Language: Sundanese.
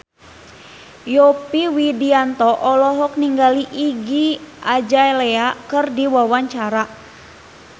Yovie Widianto olohok ningali Iggy Azalea keur diwawancara